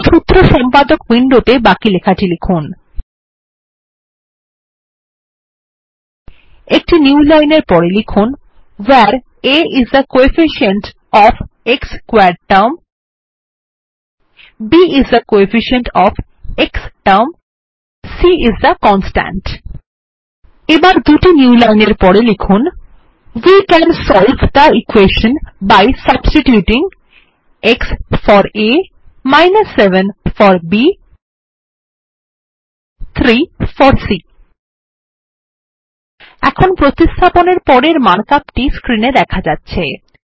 এরপর সূত্র সম্পাদক উইন্ডোতে বাকি লেখাটি লিখুন160 একটি newline এর পরে লিখুন where a is the coefficient of the x squared term b is the coefficient of the x term c is the constant এবার দুটি newline এর পরে লিখুন we can solve the equation by substituting 1 for a 7 for b 3 for c এখন প্রতিস্থাপনের পরের markup টি স্ক্রিনে দেখা যাচ্ছে